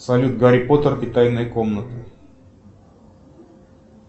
салют гарри поттер и тайная комната